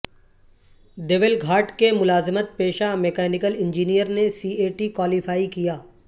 دیول گھاٹ کے ملازمت پیشہ میکانیکل انجینئر نے سی اے ٹی کوالیفائی کیا